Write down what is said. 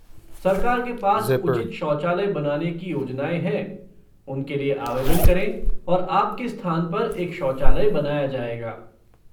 सरकार के पास उचित शौचालय बनाने की योजनाएँ हैं, उनके लिए आवेदन करें और आपके स्थान पर एक शौचालय बनाया जाएगा।